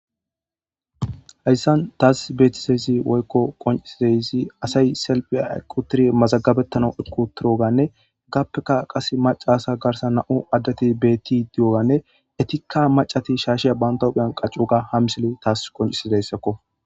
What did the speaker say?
Hayssan taasi beetidayssi woykko qoccetidayssi asay salfiyara eqqi uttidi mazggabetanaw eqqi uttidoganne hegaappekka qasse maccasay garssan na7u addeti beeti diyoganne etikka maccati shaashiya bantta huyiyan qacci uttidoga ha misile tas qonccisdoyssakko.